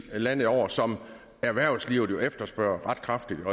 landet over som erhvervslivet jo efterspørger ret kraftigt